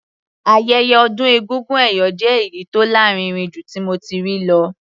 Ayẹyẹ ọdún egúngún ẹ̀yọ̀ jẹ́ èyí tó lárinrin jù tí mo ti rí lọ.